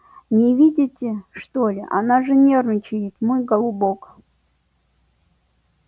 не видите что-ли она же нервничает мой голубок